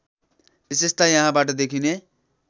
विशेषता यहाँबाट देखिने